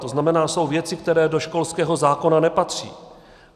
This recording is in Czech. To znamená, jsou věci, které do školského zákona nepatří.